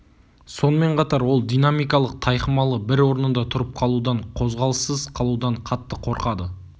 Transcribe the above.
сонымен қатар ол динамикалық тайқымалы бір орнында тұрып қалудан қозғалыссыз қалудан қатты қорқады